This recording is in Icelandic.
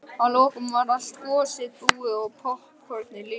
Að lokum var allt gosið búið og poppkornið líka.